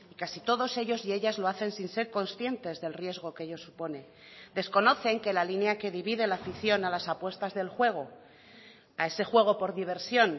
casi todos ellos y ellas lo hacen sin ser conscientes del riesgo que ello supone desconocen que la línea que divide la afición a las apuestas del juego a ese juego por diversión